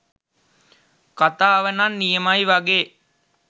කතාවනම් නියමයි වගේ